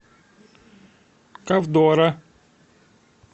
ковдора